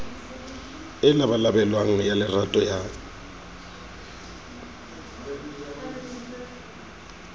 e labalabelwang ya lerato ya